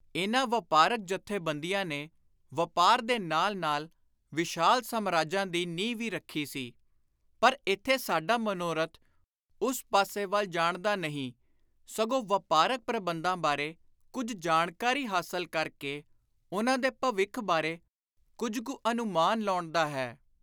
ਇਨ੍ਹਾਂ ਵਾਪਾਰਕ ਜਥੇਬੰਦੀਆਂ ਨੇ ਵਾਪਾਰ ਦੇ ਨਾਲ ਨਾਲ ਵਿਸ਼ਾਲ ਸਾਮਰਾਜਾਂ ਦੀ ਨੀਂਹ ਵੀ ਰੱਖੀ ਸੀ ਪਰ ਇਥੇ ਸਾਡਾ ਮਨੋਰਥ ਉਸ ਪਾਸੇ ਵੱਲ ਜਾਣ ਦਾ ਨਹੀਂ, ਸਗੋਂ ਵਾਪਾਰਕ ਪ੍ਰਬੰਧਾਂ ਬਾਰੇ ਕੁਝ ਜਾਣਕਾਰੀ ਹਾਸਲ ਕਰ ਕੇ ਉਨ੍ਹਾਂ ਦੇ ਭਵਿੱਖ ਬਾਰੇ ਕੁਝ ਕੁ ਅਨੁਮਾਨ ਲਾਉਣ ਦਾ ਹੈ।